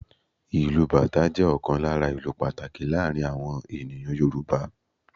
Ìlù Bàtá jẹ́ ọ̀kan lára ​​ìlù pàtàkì láàárín awọn ènìyàn Yorùbá.